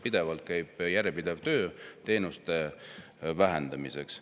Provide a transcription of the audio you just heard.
Käib järjepidev töö teenuste vähendamiseks.